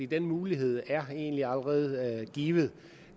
den mulighed er egentlig allerede givet